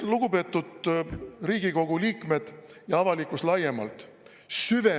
Lugupeetud Riigikogu liikmed ja avalikkus laiemalt!